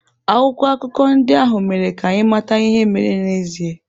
Akwụkwọ akụkọ ndị ahụ mere ka anyị mata ihe mere n'ezie.